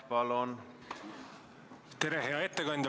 Tere, hea ettekandja!